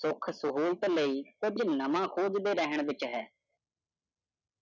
ਸੁਖ ਸਹੁਲਤ ਲਯੀ ਕੁਛ ਨਵਾਂ ਖੋਜਦੇ ਰਹਿਣ ਵਿਚ ਹੈ।